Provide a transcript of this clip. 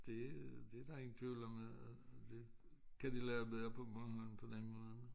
Det der ingen tvivl om at det kan de lave bedre på Bornholm på den måde